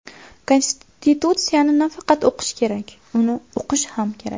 Konstitutsiyani nafaqat o‘qish kerak, uni uqish ham kerak.